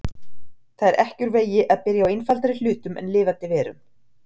Það er ekki úr vegi að byrja á einfaldari hlutum en lifandi verum.